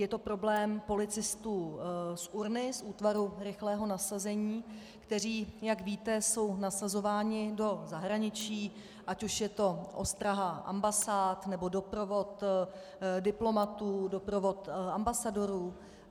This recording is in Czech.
Je to problém policistů z URNA, z Útvaru rychlého nasazení, kteří, jak víte, jsou nasazování do zahraničí, ať už je to ostraha ambasád, nebo doprovod diplomatů, doprovod ambasadorů.